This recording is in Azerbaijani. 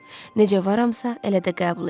Necə varamsa, elə də qəbul eləyin.